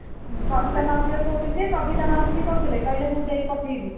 କବିତା ମାଉସୀ ଘର କହୁଥିଲେ ଯେ କବିତା ମାଉସୀ ବି କହୁଥିଲେ କହିଲେ ମୁଁ ଦେଇ ପଠେଇବି